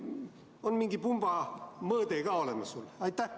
Kas on mingi pumba mõõde ka olemas?